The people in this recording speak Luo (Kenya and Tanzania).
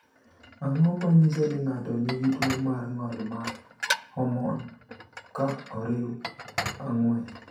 Ang’o ma nyiso ni ng’ato nigi tuwo mar ng’ol mar homon, ka oriw 4?